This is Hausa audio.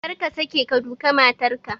Kar ka sake ka duka matar ka!